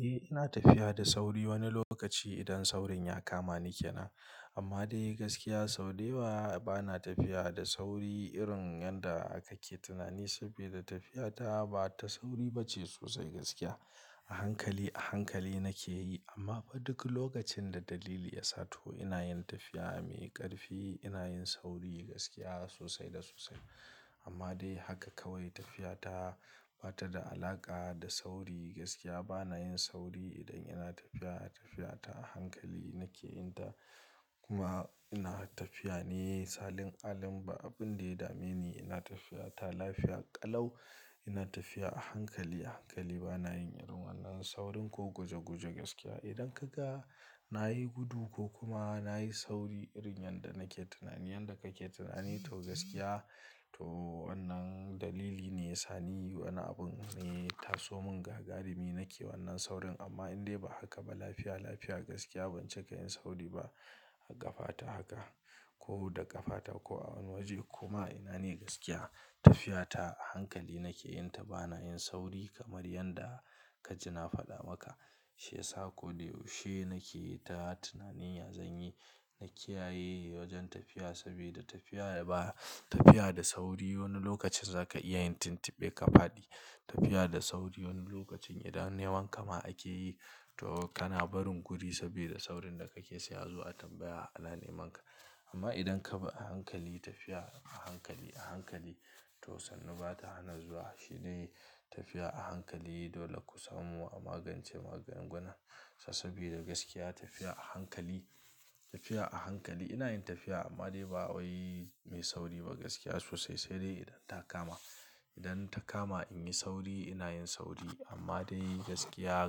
Eh, ina tafiya da sauri wani lokaci idan saurin ya kama ni ke na. Amma dai gaskiya sau da ba na tafiya da sauri irin yanda kake tunani saboda tafiyata ba ta sauri ba ce sosai gaskiya. A hankali, a hankali nake yi amma fa duk lokacin da dalili ya sato ina yin tafiya a me ƙarfi, ina yin sauri gaskiya sosai da sosai. Amma dai haka kawai tafiyata ba ta da alaƙa da sauri gaskiya. Ba na yin sauri idan ina tafiya, tafiyata a hankali nake yin ta. Kuma ina tafiya ne salin alin, ba abin da ya dame ni. Ina tafiyata lafiya ƙalau. Ina tafiya a hankali, a hankali ba na yin irin wannan saurin ko guje guje gaskiya. Idan ka ga na yi gudu ko kuma na yi sauri irin yanda nake tunani, yanda kake tunani toh gaskiya toh wannan dalili ne sani, wani abun ne ta so mun ga garimi nake wannan saurin. Amma in dai ba haka ba lafiya lafiya gaskiya ban cika yin sauri ba ƙafa ta haka ko da ƙafa ta ko a waje. Kuma ina ne gaskiya tafiyata a hankali nake yin ta, ba na yin sauri kamar yanda ka ji na faɗa maka. Shi ya sa ko da yaushe nake yi ta tunanin ya zanyi, na kiyaye wajen tafiya saboda tafiya ba, tafiya da sauri wani lokacin za ka iya yin tuntuɓe ka fadi. Tafiya da sauri wani lokacin idan yawan kama ake yi toh kana barin guri saboda saurin da kake saya zuwa tambaya a nane maka. Amma idan ka bi a hankali tafiya a hankali, a hankali toh sannu ba ta hana zuwa. Shi ne tafiya a hankali. Dole ku samu a magance maganganun sa saboda gaskiya tafiya a hankali, tafiya a hankali. Ina yin tafiya amma dai ba wai mai sauri ba gaskiya sosai. Sai dai idan ta kama, idan ta kama in yi sauri ina yin sauri. Amma dai gaskiya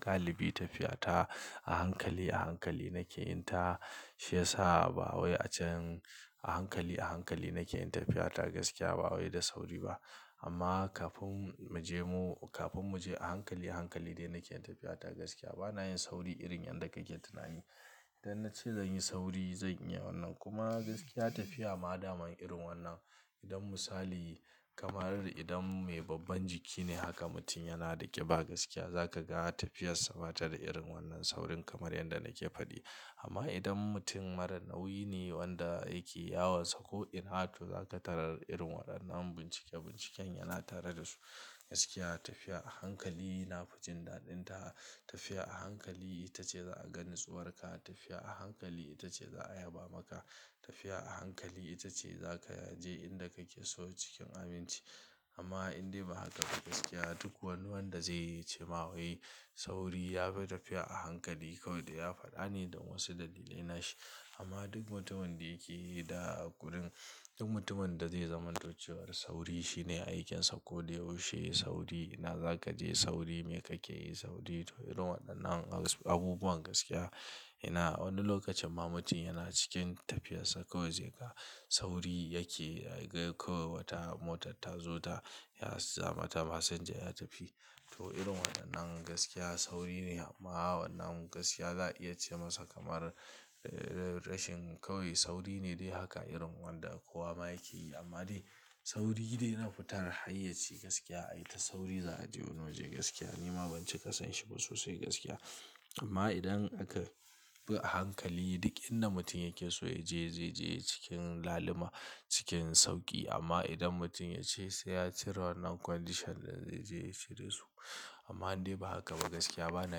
galibi tafiyata a hankali, a hankali nake yin ta. Shi ya sa ba wai a can a hankali, a hankali nake yin tafiyata gaskiya ba wai da sauri ba. Amma kafin mu je mu, kafin mu je a hankali, a hankali dai nake yin tafiyata gaskiya. Ba na yin sauri irin yanda kake tunani. Idan na ce zan yi sauri, zan iya wannan. Kuma gaskiya tafiya ma daman irin wannan. Idan misali kamar idan mai babban jiki ne haka mutum yana da ƙiba gaskiya, za ka ga tafiyarsa ba ta da irin wannan saurin kamar yanda nake fadi. Amma idan mutum mara nauyi ne wanda yake yawarsa ko in ha tu za ka tarar irin waɗannan bincike binciken yana tare da su. Gaskiya tafiya a hankali na fujin daɗin ta. Tafiya a hankali ita ce za a gani tsuwarka. Tafiya a hankali ita ce za a yaba maka. Tafiya a hankali ita ce za ka aje inda kake so cikin aminci. Amma in dai ba haka ba gaskiya duk wani wanda zai yi ce ma wai sauri ya fi tafiya a hankali kawai dai ya faɗa ne don wasu dalilai na shi. Amma duk mutumin da yake da kuɗin, duk mutumin da zai zama docewar sauri shi ne aikinsa ko da yaushe yi sauri. Ina za ka je sauri, me kake yi sauri toh irin waɗannan abubuwan gaskiya. Ina wani lokacin ma mutum yana cikin tafiyarsa kawai zai ga sauri yake, kawai wata motar ta zo ta ya zamata masinja ya tafi. Toh irin waɗannan gaskiya sauri ne amma wannan gaskiya za a iya ce masa kamar rashin kawai sauri ne dai haka irin wanda kowa ma yake yi. Amma dai sauri dai ina futar hayyaci gaskiya ayi ta sauri za a je wani waje gaskiya. Ni ma ban cika son shi ba sosai gaskiya. Amma idan aka bi a hankali duk inda mutum yake so ya je zai je cikin lalima, cikin sauƙi. Amma idan mutum ya ce sai ya cire wannan condition da zai je ya cire su. Amma in dai ba haka ba gaskiya ba na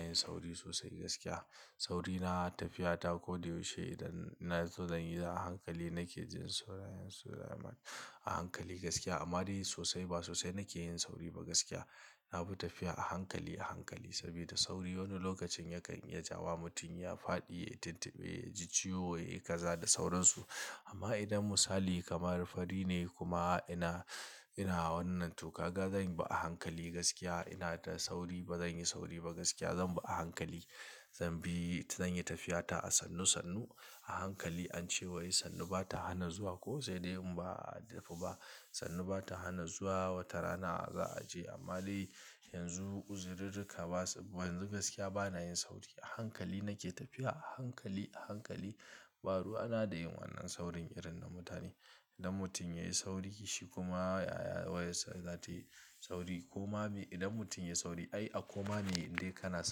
yin sauri sosai gaskiya. Sauri na tafiyata ko da yaushe idan ina so zan yi za a hankali nake jin saurayin su da himma a hankali gaskiya. Amma dai sosai ba sosai nake yin sauri ba gaskiya. Na fi tafiya a hankali, a hankali saboda sauri wani lokacin yakan iya jawo mutum ya fadi, ya tuntuɓe, ya ji ciwo, ya yi kaza da sauransu. Amma idan misali kamar fari ne kuma ina, ina wannan to kaga zan bi a hankali gaskiya. Ina da sauri ba zan yi sauri ba gaskiya, zan bi a hankali. Zan bi, zan yi tafiyata a sannu sannu a hankali. An ce wai sannu ba ta hana zuwa ko sai dai in ba a tafi ba. Sannu ba ta hana zuwa wata rana za a je. Amma dai yanzu uzirirrika ba su, yanzu gaskiya ba na yin sauri. A hankali nake tafiya a hankali, a hankali. Ba ruwana da yin wannan saurin irin na mutane. Idan mutum ya yi sauri shi kuma ya, ya, ya, zai tafi sauri. Koma bi idan mutum ya yi sauri ai a koma ne in dai ka na.